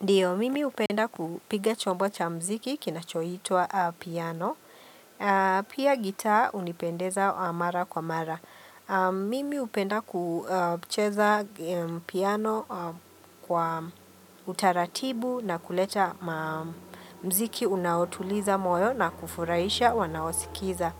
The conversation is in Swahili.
Ndiyo, mimi hupenda kupiga chombo cha mziki kinachoitwa piano. Pia gitaa unipendeza mara kwa mara. Mimi upenda kucheza piano kwa utaratibu na kuleta mziki unaotuliza moyo na kufurahisha wanaosikiliza.